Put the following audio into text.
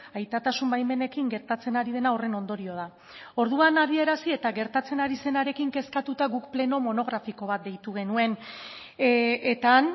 aitatasun baimenekin gertatzen ari dena horren ondorio da orduan adierazi eta gertatzen ari zenarekin kezkatuta guk pleno monografiko bat deitu genuen eta han